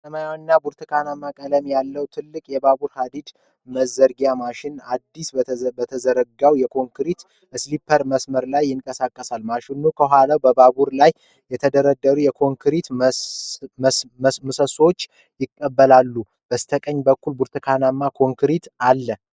ሰማያዊና ብርቱካንማ ቀለም ያለው ትልቅ የባቡር ሀዲድ መዘርጊያ ማሽን፣ አዲስ በተዘረጋው የኮንክሪት ስሊፐር መስመር ላይ ይንቀሳቀሳል። ማሽኑ ከኋላው በባቡር ላይ የተደረደሩትን የኮንክሪት ምሰሶዎች ይቀበላል። በስተቀኝ በኩል ብርቱካናማ ክሬን አለ።